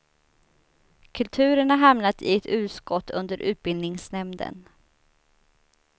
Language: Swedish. Kulturen har hamnat i ett utskott under utbildningsnämnden.